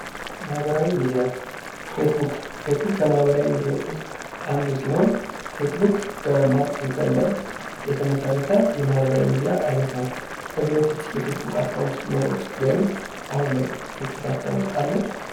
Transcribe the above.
ማህበራዊ ሚዲያ ፌስቡክ ፌስቡክ ከማህበራዊ ሚዲያዎች ውስጥ አንዱ ሲሆን ፌስቡክ በማርክሊከንበርግ የተመሠረተ የማህበራዊ ሚዲያ አይነት ነው። ከዚህ በፊት የፌስቡክ አካውንት ኑሮዎት ወይም አሀን ላይ ፌስቡክ አካውንት አለዎት?